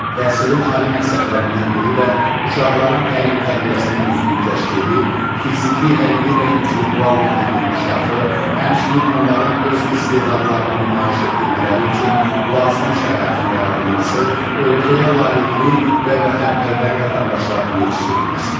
Təhsilin ali məqsədlərindən biri də uşaqların təlim-tərbiyəsinin düzgün təşkili, fiziki, əqli və intellektual mənəvi inkişafı, həmçinin onların öz istedadlarını nümayiş etdirmələri üçün lazımi şəraitin yaradılması, ölkəyə layiqli və vətənpərvər vətəndaşların yetişdirilməsidir.